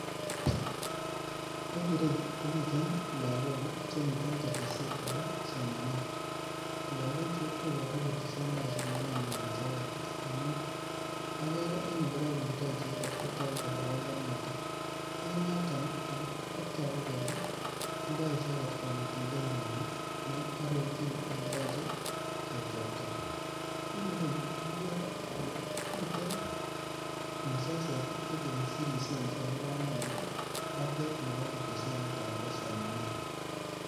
En ireyu komiten lokok ii chemiten ketesiyet nebo somanet, logochu koboruu kotesen taa somanenywan icheget amun ogere en ile koburto icheget kotogu kele pongonotin, en yoton koraa kotogu kelee tindo ichek konetindenywan ne arorchin ele yoche ketebto, en ireyu ogere ole miten mezoziek chekesirsien chekakipangan en batet nebo ketesyo niton bo somanet